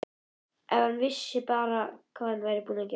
Ef hann vissi bara hvað hann er búinn að gera.